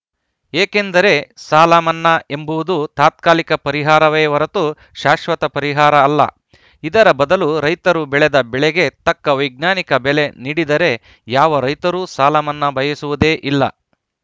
ಏಕೆಂದರೆ ಸಾಲ ಮನ್ನಾ ಎಂಬುವುದು ತಾತ್ಕಾಲಿಕ ಪರಿಹಾರವೇ ಹೊರತು ಶಾಶ್ವತ ಪರಿಹಾರ ಅಲ್ಲ ಇದರ ಬದಲು ರೈತರು ಬೆಳೆದ ಬೆಳೆಗೆ ತಕ್ಕ ವೈಜ್ಞಾನಿಕ ಬೆಲೆ ನೀಡಿದರೆ ಯಾವ ರೈತರೂ ಸಾಲಮನ್ನಾ ಬಯಸುವುದೇ ಇಲ್ಲ